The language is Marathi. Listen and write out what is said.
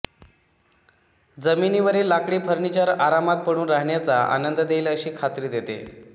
जमिनीवरील लाकडी फर्निचर आरामात पडून राहाण्याचा आनंद देईल अशी खात्री देते